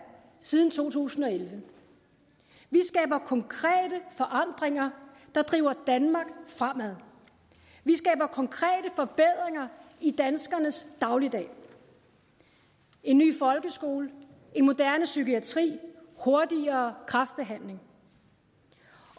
siden to tusind og elleve vi skaber konkrete forandringer der driver danmark fremad vi skaber konkrete forbedringer i danskernes dagligdag en ny folkeskole en moderne psykiatri hurtigere kræftbehandling